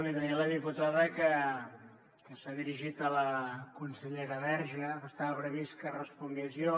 li deia a la diputada que s’ha dirigit a la consellera verge però estava previst que respongués jo